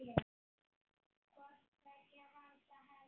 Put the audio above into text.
hvort tveggja handa henni.